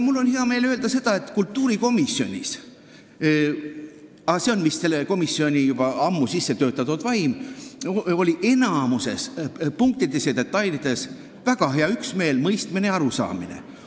Mul on hea meel öelda, et kultuurikomisjonis – aga see on vist selle komisjoni juba ammu sissetöötatud vaim – oli enamikus punktides ja detailides väga suur üksmeel, mõistmine ja arusaamine.